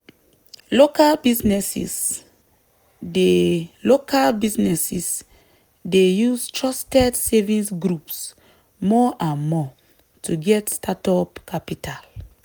local businesses dey local businesses dey use trusted savings groups more and more to get startup capital.